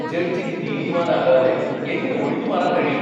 ജഡ്ജിക്ക് നീതിമാനാകാതെ എങ്ങനെ ഒഴിഞ്ഞുമാറാൻ കഴിയും?